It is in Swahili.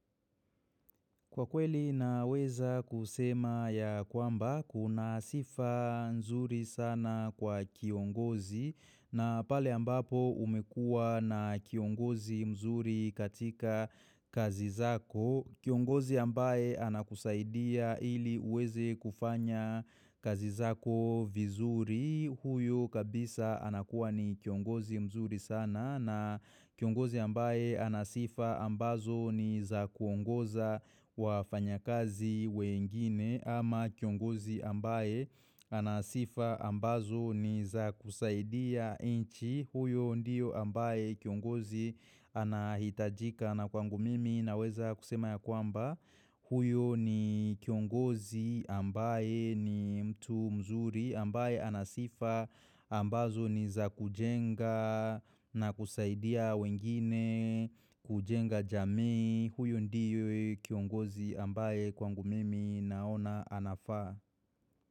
Kwa kweli naweza kusema ya kwamba kuna sifa mzuri sana kwa kiongozi na pale ambapo umekua na kiongozi mzuri katika kazi zako. Kiongozi ambaye anakusaidia ili uweze kufanya kazi zako vizuri huyo kabisa anakuwa ni kiongozi mzuri sana na kiongozi ambaye anasifa ambazo ni za kuongoza wafanya kazi wengine ama kiongozi ambaye anasifa ambazo ni za kusaidia inchi huyo ndiyo ambaye kiongozi anahitajika. Na kwangu mimi naweza kusema ya kwamba huyo ni kiongozi ambaye ni mtu mzuri ambaye anasifa ambazo ni za kujenga na kusaidia wengine kujenga jamii huyo ndiyo kiongozi ambaye kwangu mimi naona anafaa.